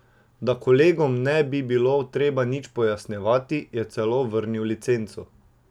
Da kolegom ne bi bilo treba nič pojasnjevati, je celo vrnil licenco.